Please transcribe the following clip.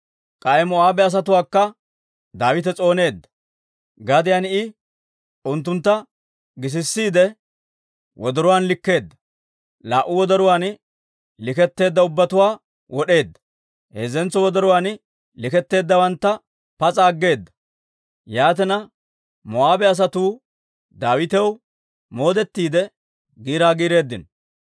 K'ay Moo'aabe asatuwaakka Daawite s'ooneedda. Gadiyaan I unttuntta gisisiide wodoruwaan likkeedda; laa"u wodoruwaan likketteedda ubbatuwaa wod'eedda; heezzentso wodoruwaan likketteeddawantta pas'a aggeeda. Yaatina Moo'aabe asatuu Daawitaw moodettiide giiraa giireeddino.